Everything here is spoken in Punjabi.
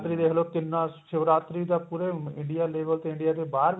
ਦੇਖ ਲੋ ਕਿੰਨਾ ਸ਼ਿਵਰਾਤਰੀ ਦਾ ਪੂਰੇ India level ਤੇ India ਦੇ ਬਾਹਰ